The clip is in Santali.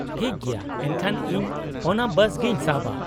-ᱴᱷᱤᱠ ᱜᱮᱭᱟ, ᱮᱱᱠᱷᱟᱱ ᱤᱧ ᱚᱱᱟ ᱵᱟᱥ ᱜᱮᱧ ᱥᱟᱵᱼᱟ ᱾